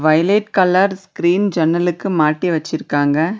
Violet colour screen ஜன்னலுக்கு மாட்டி வெச்சிருக்காங்க.